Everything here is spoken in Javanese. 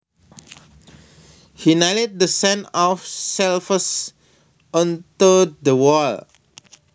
He nailed the set of shelves onto the wall